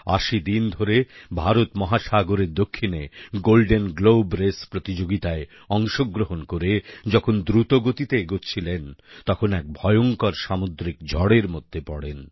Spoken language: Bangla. ৮০ দিন ধরে ভারত মহাসাগরের দক্ষিণে গোল্ডেন গ্লোব রেস প্রতিযোগিতায় অংশগ্রহণ করে যখন দ্রুতগতিতে এগোচ্ছিলেন তখন এক ভয়ঙ্কর সামুদ্রিক ঝড়ের মধ্যে পড়েন